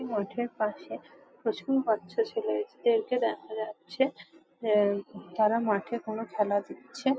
এই মাঠের পাশে প্রচুর বাচ্চা ছেলেদের কে দেখা যাচ্ছে যারা আহ তারা মাঠে কোনো খেলা দিচ্ছে।